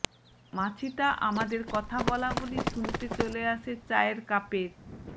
মাছিটা আমাদের কথা বলাবলি শুনতে চলে আসে চায়ের কাপের